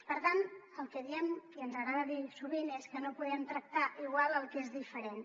per tant el que diem i ens agrada dir sovint és que no podem tractar igual el que és diferent